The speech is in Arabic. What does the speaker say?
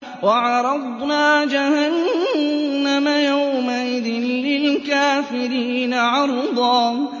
وَعَرَضْنَا جَهَنَّمَ يَوْمَئِذٍ لِّلْكَافِرِينَ عَرْضًا